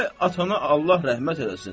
Ay atana Allah rəhmət eləsin.